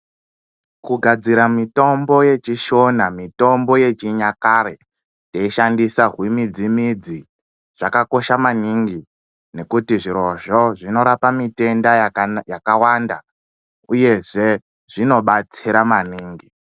Kugadzira mitombo yechishona mitombo yechinyakare teishandisa zvimidzi midzi zvakakosha maningi ngekuti zvirozvo zvinorapa mitenda yakawanda uyezve, zvinobatsira maningi.